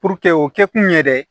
Puruke o kɛkun yɛrɛ ye